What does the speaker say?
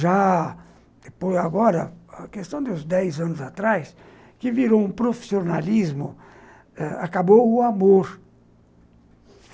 Já agora, a questão dos dez anos atrás, que virou um profissionalismo eh, acabou o amor.